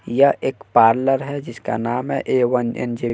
या एक पार्लर है। जिसका नाम है ए वन इंजन --